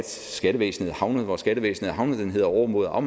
skattevæsenet er havnet hvor skattevæsenet er havnet den hedder overmod og